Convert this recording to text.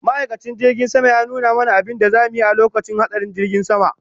Ma'aikacin jirgin sama ya nuna mana abinda zamu yi a lokacin hatsarin jirgin sama